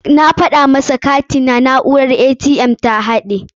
Na gaya masa cewa katina na'urar ATM ta haɗaye.